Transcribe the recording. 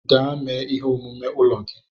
Gaa mee ihe omume ụlọ gị!